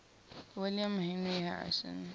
william henry harrison